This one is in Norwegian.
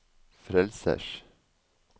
frelsers